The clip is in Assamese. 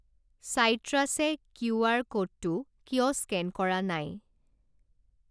চাইট্ৰাছ য়ে কিউআৰ ক'ডটো কিয় স্কেন কৰা নাই?